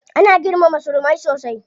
Ana girmama surumai sosai.